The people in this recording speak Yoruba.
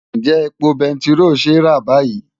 Ǹjẹ́ epo bẹntiró ṣe é rà báyìí?